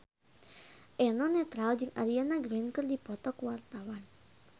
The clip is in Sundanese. Eno Netral jeung Ariana Grande keur dipoto ku wartawan